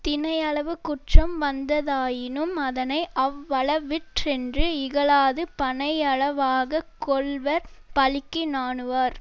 தினையளவு குற்றம் வந்ததாயினும் அதனை அவ்வளவிற்றென்று இகழாது பனையளவாக கொள்வர் பழிக்கு நாணுவார்